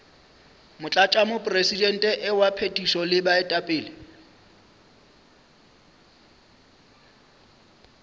motlatšamopresidente wa phethišo le baetapele